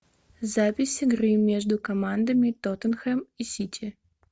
запись игры между командами тоттенхэм и сити